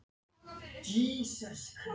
Bogga stóð við hlið hennar og brosti feimnislega.